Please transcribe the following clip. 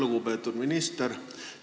Lugupeetud minister!